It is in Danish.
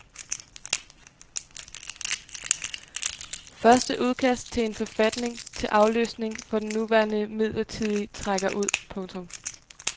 Første udkast til en forfatning til afløsning for den nuværende midlertidige trækker ud. punktum